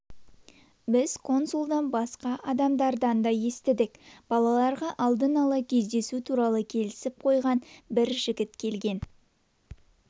біз консулдан басқа адамдардан да естідік балаларға алдын ала кездесу туралы келісіп қойған бір жігіт келген